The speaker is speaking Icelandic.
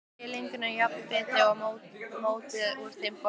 Skerið lengjurnar í jafna bita og mótið úr þeim bollur.